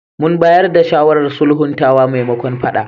Mun bayar da shawarar sulhuntawa maimakon faɗa.